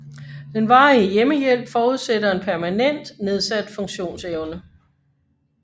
Den varige hjemmehjælp forudsætter en permanent nedsat funktionsevne